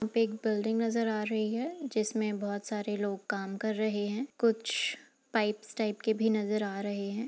यहाँ पे एक बिल्डिंग नज़र आ रही है जिसमें बहोत सारे लोग काम कर रहे हैं। कुछ पाइप्स टाइप के भी नज़र आ रहे हैं।